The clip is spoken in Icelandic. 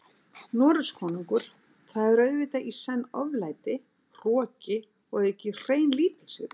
Noregskonungur, það er auðvitað í senn oflæti, hroki og að auki hrein lítilsvirðing.